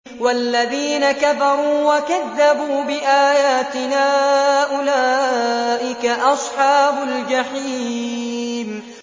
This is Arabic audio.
وَالَّذِينَ كَفَرُوا وَكَذَّبُوا بِآيَاتِنَا أُولَٰئِكَ أَصْحَابُ الْجَحِيمِ